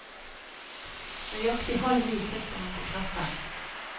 Nøyaktig halv ni trykker han på knappen.